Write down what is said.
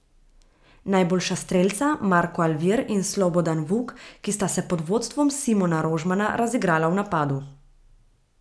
Najboljša strelca Marko Alvir in Slobodan Vuk, ki sta se pod vodstvom Simona Rožmana razigrala v napadu.